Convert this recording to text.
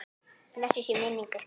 Blessuð sé minning ykkar.